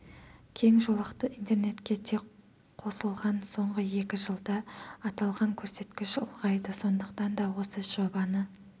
кең жолақты интернетке тек қосылған соңғы екі жылда аталған көрсеткіш ұлғайды сондықтан да осы жобаны